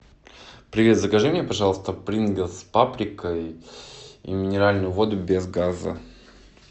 привет закажи мне пожалуйста принглс с паприкой и минеральную воду без газа